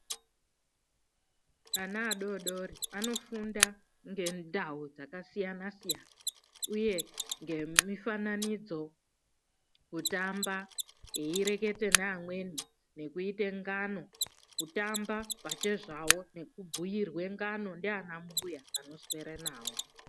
Vana vadodori vanofunda ngendau dzakasiyana siyana uye nemifananidzo kutamba veireketa nevamweni nekuite ngano kutamba pachezvavo ngekubhuirwa ngano naana mbuya vanoswera navo .